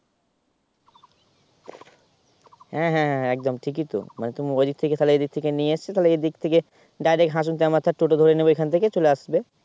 হ্যাঁ হ্যাঁ হ্যাঁ একদম ঠিক তো মানে ওদিক থেকে তো এদিক থেকে নিয়েছে তাহলে এদিক থেকে Direct হাসান Toto ধরে নেবে ওখান থেকে চলে আসবে